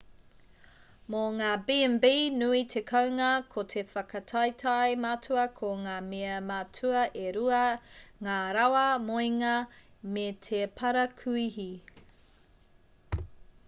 mō ngā b&b nui te kounga ko te whakataetae matua ko ngā mea matua e rua ngā rawa moenga me te parakuihi